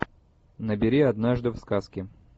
набери однажды в сказке